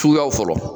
Suguyaw fɔlɔ